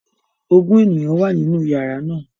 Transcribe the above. Ogun eniyan wa ninu yara naa